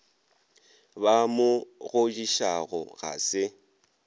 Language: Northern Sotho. ba mo godišago ga se